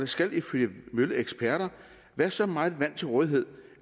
skal ifølge mølleeksperter være så meget vand til rådighed